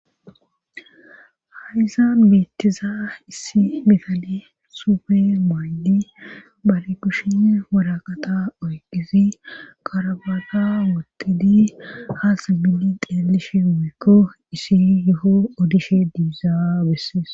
haysan beettiza issi mifale suufe maaydi bale kushin woraqata oyqizi qarabata wotidi haasa milli xeelishe woykko issi yeho odishe diizaa bessees